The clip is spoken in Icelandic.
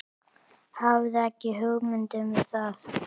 Hafði ekki hugmynd um það.